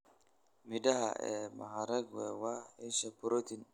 Midhaha ee mahariqwe waa isha borotiin.